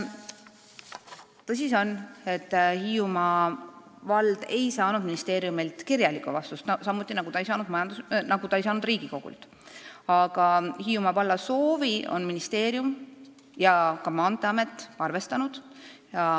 Tõsi see on, et Hiiumaa vald ei saanud ministeeriumilt kirjalikku vastust, samuti nagu ta ei saanud Riigikogult, aga Hiiumaa valla soovi on ministeerium ja ka Maanteeamet arvestanud.